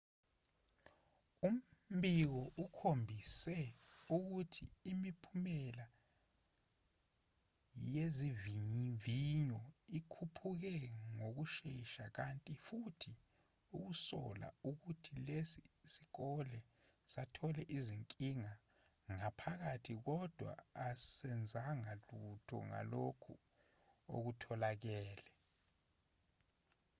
umbiko ukhombise ukuthi imiphumela yezivivinyo ikhuphuke ngokushesha kanti futhi usola ukuthi lesi sikole sathole izinkinga ngaphakathi kodwa asenzanga lutho ngalokhu okutholakele